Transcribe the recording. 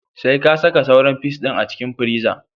Sai ka saka sauran fis ɗin a cikin friza